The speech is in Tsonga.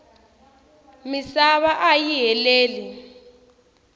misava ayi heleli